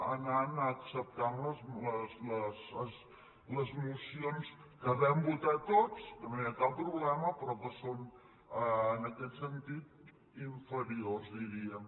ha anat acceptant les mocions que vam votar tots que no hi ha cap problema però que són en aquest sentit inferiors diríem